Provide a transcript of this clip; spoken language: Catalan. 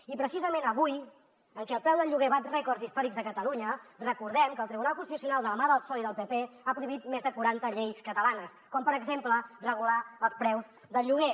i precisament avui que el preu del lloguer bat rècords històrics a catalunya recordem que el tribunal constitucional de la mà del psoe i del pp ha prohibit més de quaranta lleis catalanes com per exemple regular els preus del lloguer